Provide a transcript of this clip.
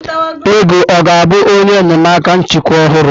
Ego ọ ga-abụ onye enyemaka nchịkwa ọhụrụ?